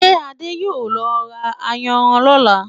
Ṣé adé yóò lọ ra ayanran lọ́là?